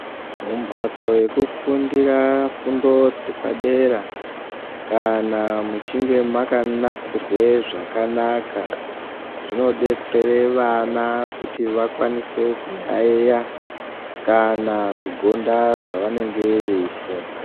Mu mbatso yeku fundira fundo dze padera kana muchinge maka nasirwe zvakanaka zvino detsere vana kuti vakwanise ku yayiya kana ku gonda zva vanenge vei funda.